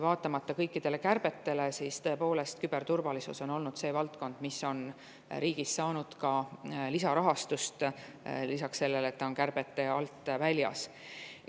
Vaatamata kõikidele kärbetele on küberturvalisus olnud see valdkond, mis on riigis saanud ka lisarahastust, lisaks sellele, et ta on kärbete alt väljas.